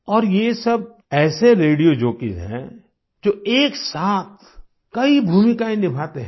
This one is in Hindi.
और ये सब ऐसे रेडियो जॉकीज हैं जो एक साथ कई भूमिकाएं निभाते हैं